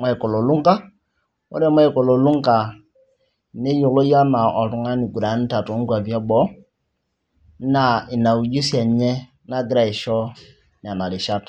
Michael olunga ore michael olunga neyioloi enaa oltung'ani oiguranita toonkuapi eboo naa ina ujuzi enye nagira aisho nena rishat.